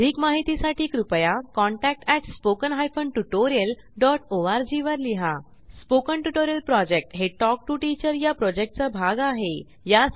अधिक माहितीसाठी कृपया contact at spoken hyphen tutorial dot O R G वर लिहा स्पोकन ट्युटोरियल प्रॉजेक्ट हे टॉक टू टीचर या प्रॉजेक्टचा भाग आहे